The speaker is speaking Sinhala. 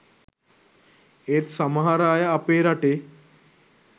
ඒත් සමහර අය අපේ රටේ